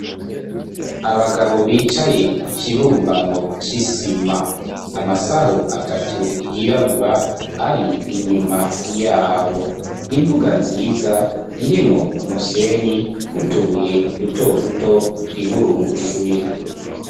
Abagabo bicaye ku ikibumbano c'isima amasaho atatu yirabura ari inyuma yabo imvuga nziza irimwo umusenyi niutubuye dutoduto twiburungushuye.